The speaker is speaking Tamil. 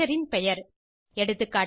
ஸ்ட்ரக்சர் ன் பெயர் எகா